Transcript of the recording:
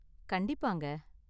கண்டிப்பாங்க.